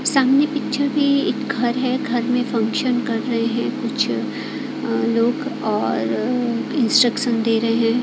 सामने पीछे भी एक घर है घर में फंक्शन कर रहे है कुछ लोग और इंस्ट्रक्शन दे रहे है।